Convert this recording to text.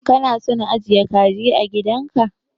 Kana son ajiye kaji a gidan ka